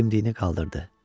Dimdiyini qaldırdı.